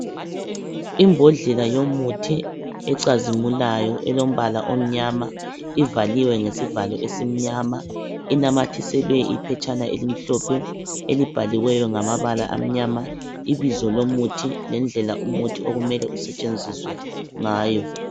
Imbodlela yomuthi ecazimulayo elombala omnyama ivaliwe ngesivalo esimnyama inamathiselwe iphetshane elimhlophe elibhaliweyo ngamabala amnyama ibizo lomuthi lendlela okumele usetshenziswe ngayo.